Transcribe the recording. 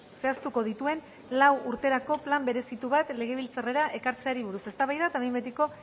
zehaztuko dituen lau urterako plan berezitu bat legebiltzarrera ekartzeari buruz eztabaida eta behin betiko